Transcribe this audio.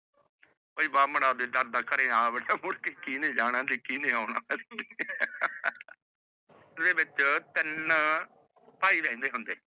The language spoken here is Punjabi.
ਤੇ ਦਾਦਾ ਘਰੇ ਵੜਾ ਮੁੜਕੇ ਕੀਨੇ ਜਾਣਾ ਤੇ ਕੀਨੇ ਆਉਣਾ ਓਦੇ ਵਿਚ ਤਿਨ ਭਾਈ ਰਹੰਦੇ ਹੋਂਦੇ